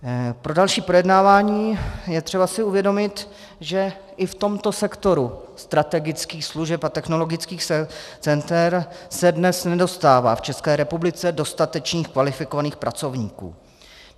Pro další projednávání je třeba si uvědomit, že i v tomto sektoru strategických služeb a technologických center se dnes nedostává v České republice dostatečných kvalifikovaných pracovníků.